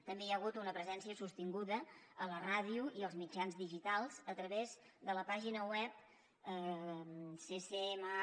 també hi ha hagut una presència sostinguda a la ràdio i als mitjans digitals a través de la pàgina web ccma